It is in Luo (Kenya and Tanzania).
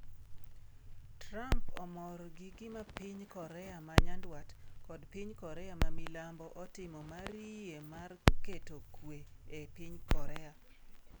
Trump omor gi gima piny Korea ma Nyanduat kod piny Korea ma milambo otimo mar yie mar keto kwe e piny Korea